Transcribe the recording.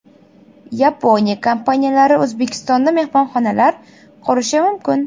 Yaponiya kompaniyalari O‘zbekistonda mehmonxonalar qurishi mumkin.